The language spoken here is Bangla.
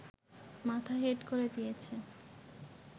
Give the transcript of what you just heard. মাথা হেট করে দিয়েছে